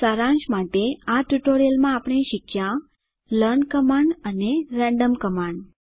સારાંશ માટે આ ટ્યુટોરીયલમાં આપણે શીખ્યા લર્ન કમાન્ડ અને રેન્ડમ કમાન્ડ